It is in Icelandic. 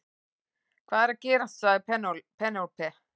Hvað er að gerast sagði Penélope.